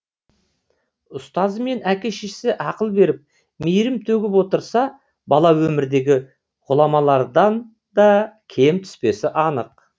ұстазы мен әке шешесі ақыл беріп мейірім төгіп отырса бала өмірдегі ғұламаларданда кем түспесі анық